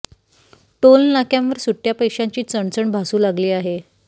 toll नाक्यांवर सुट्या पैशांची चणचण भासू लागली आहे